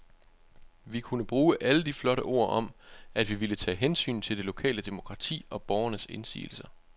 Vi kunne bruge alle de flotte ord om, at vi ville tage hensyn til det lokale demokrati og borgernes indsigelser.